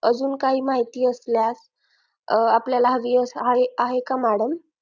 अजून काही माहिती असल्यास आपल्याला हवी आहे का madam